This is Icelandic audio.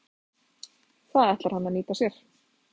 Það ætlar hann að nýta sér.